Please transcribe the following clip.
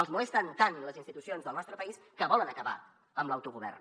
els molesten tant les institucions del nostre país que volen acabar amb l’autogovern